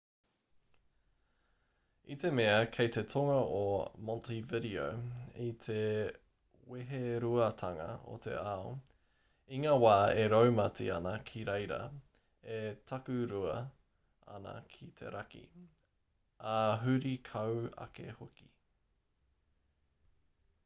i te mea kei te tonga a montevideo i te weheruatanga o te ao i ngā wā e raumati ana ki reira e takurua ana ki te raki ā huri kau ake hoki